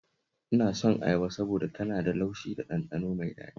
Ina son ayaba saboda tana da laushi da ɗanɗano mai daɗi